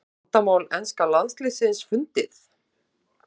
Er vandamál enska landsliðsins fundið?